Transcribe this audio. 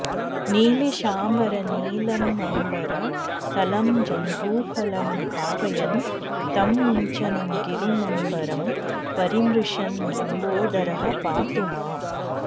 नीलीशाम्बरनीलमम्बरतलं जम्बूफलं भावयन् तं मुञ्चन् गिरिमम्बरं परिमृशन् लम्बोदरः पातु माम्